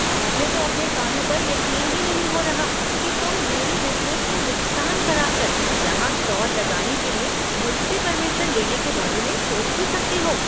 मुझे तो अपने कानों पर यकीन ही नहीं हो रहा कि तुम मेरे बिज़नेस में नुकसान कराकर यहां स्टॉल लगाने के लिए मुझसे परमिशन लेने के बारे में सोच भी सकते हो।